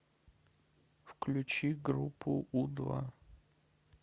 включи группу у два